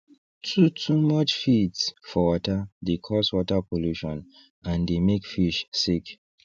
too too much feeds for water dey cause water pollution and dey make fish sick